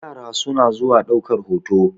yara suna zuwa daukar hoto